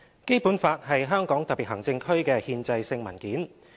《基本法》是香港特別行政區的憲制性文件。